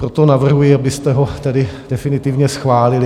Proto navrhuji, abyste ho tedy definitivně schválili.